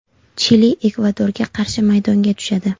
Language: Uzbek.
Chili Ekvadorga qarshi maydonga tushadi.